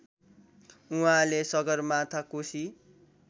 उहाँले सगरमाथा कोशी